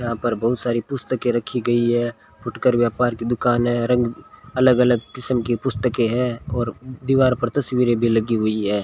यहां पर बहुत सारी पुस्तकें रखी गई है फुटकर व्यापार की दुकान है रंग अलग अलग किस्म की पुस्तकें हैं और दीवार पर तस्वीरें भी लगी हुई है।